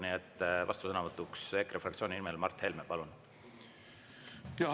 Nii et vastusõnavõtt EKRE fraktsiooni nimel, Mart Helme, palun!